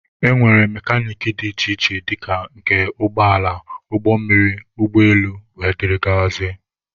E nwere mekanik dị iche iche dịka nke ụgbọala, ụgbọ mmiri, ụgbọ elu wdg.